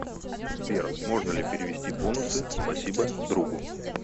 сбер можно ли перевести бонусы спасибо другу